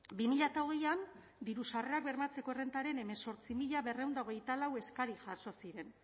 bi mila hogeian diru sarrerak bermatzeko errentaren hemezortzi mila berrehun eta hogeita lau eskari jaso ziren